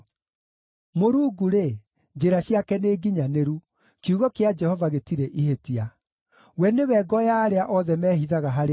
Mũrungu-rĩ, njĩra ciake nĩnginyanĩru; kiugo kĩa Jehova gĩtirĩ ihĩtia. We nĩwe ngo ya arĩa othe mehithaga harĩ we.